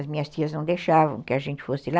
As minhas tias não deixavam que a gente fosse lá,